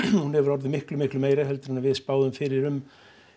hún hefur orðið miklu miklu meiri en við spáðum fyrir um